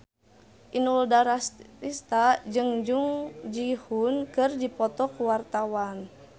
Inul Daratista jeung Jung Ji Hoon keur dipoto ku wartawan